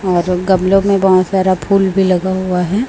और गमले में बहोत सारा फूल भी लगा हुआ है।